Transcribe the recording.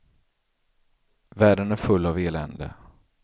Världen är full av elände.